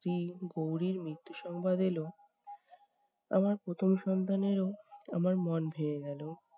স্ত্রী গৌরীর মৃত্যুর সংবাদ এলো আমার প্রথম সন্তানেরও, আমার মন ভেঙে গেলো।